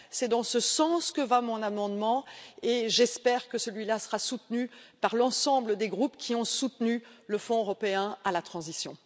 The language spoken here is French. C'est dans ce sens que va mon amendement, et j'espère qu'il sera soutenu par l'ensemble des groupes qui ont soutenu le Fonds européen pour la transition.